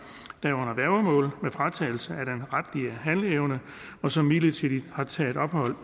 der er under værgemål med fratagelse af den retlige handleevne og som midlertidigt har taget ophold